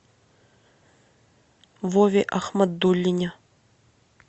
вове ахмадуллине